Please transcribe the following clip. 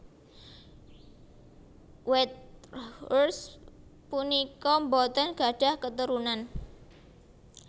Whitehurst punika boten gadhah keturunan